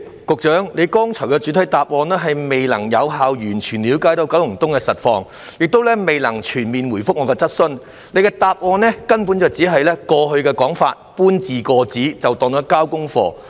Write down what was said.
局長剛才的主體答覆顯示他未能有效地完全了解九龍東的實際情況，亦未能全面回覆我的主體質詢，局長只是將過去的說法搬字過紙便算。